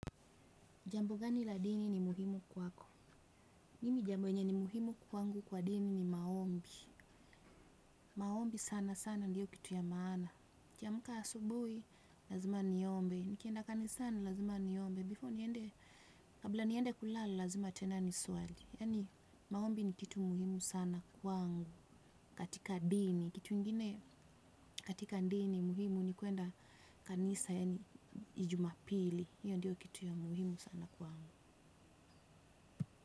Jambo gani la dini ni muhimu kwako? Mimi jambo enye ni muhimu kwangu kwa dini ni maombi. Maombi sana sana ndiyo kitu ya maana. Nikiamka asubuhi, lazima niombe. Nikienda kanisani lazima niombe. Before niende, kabla niende kulala, lazima tena nisuali. Yaani maombi ni kitu muhimu sana kwangu katika dini. Kitu ingine katika dini muhimu ni kuenda kanisa, yaani ijumapili. Iyo ndiyo kitu ya muhimu sana kwangu.